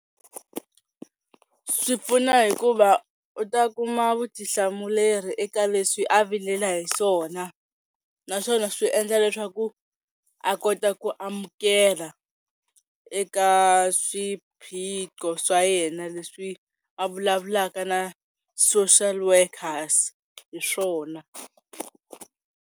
Swi pfuna hikuva u ta kuma vutihlamuleri eka leswi a vilela hi swona naswona swi endla leswaku a kota ku amukela eka swiphiqo swa yena leswi a vulavulaka na social workers hi swona.